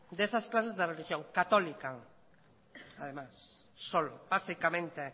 de esas clases de religión católica además solo básicamente